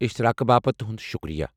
اشتراقہٕ باپت تہُند شکریہ۔